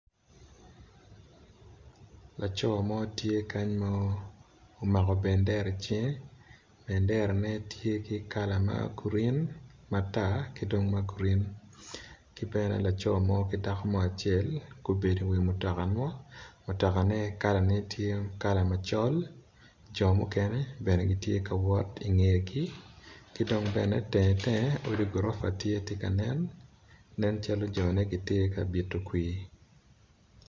Laco mo tye kany ma omako bendera i cinge, benderane tye kala ma gurin, matar ki dong ma gurin ki bene laco mo ki dako mo acel, gubedo i wi mutoka mo, mutokane kalane tye kala macol, co mukene bene gitye kawot ingegi kidong tenge tenge odi gorofa tye ka nen, nen calo cone tye bito kwi.